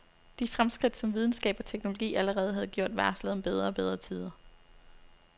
De fremskridt, som videnskab og teknologi allerede havde gjort, varslede om bedre og bedre tider.